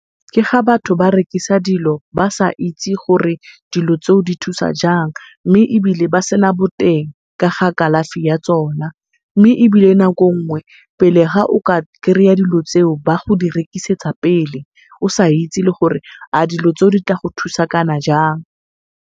Ke ga batho ba rekisa dilo ba sa itse gore dilo tseo di thusa jang, mme ebile ba sena boteng ka ga kalafi ya tsona. Mme ebile nako nngwe pele ga o ka kry-a dilo tseo ba di go rekisetsa pele, o sa itse le gore a dilo tseo di tla go thusa kana jang.